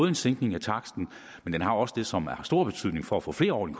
en sænkning af taksten den har også det som har stor betydning for at få flere over i